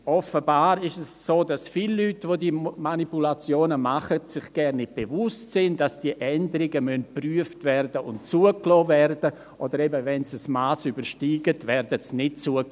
Offenbar ist es so, dass sich viele Leute, die diese Manipulationen machen, sich gar nicht bewusst sind, dass diese Änderungen geprüft und zugelassen werden müssen, oder, wenn sie ein Mass übersteigen, werden sie eben nicht zugelassen.